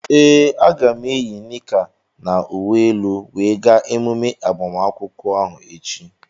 Ee, aga m eyi nika na uwe elu wee gaa emume agbamakwụkwọ ahu echi.